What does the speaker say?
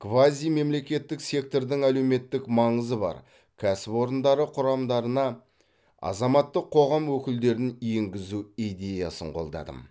квазимемлекеттік сектордың әлеуметтік маңызы бар кәсіпорындары құрамдарына азаматтық қоғам өкілдерін енгізу идеясын қолдадым